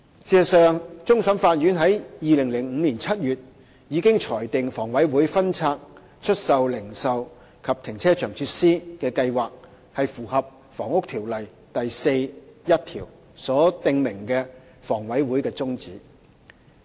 事實上，終審法院在2005年7月已經裁定，房委會分拆出售零售和停車場設施的計劃符合《房屋條例》第41條所訂明的房委會的宗旨。